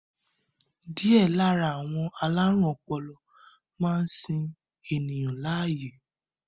Díẹ̀ lára àwọn alárùn ọpọlọ máa ń sin ènìyàn láàyè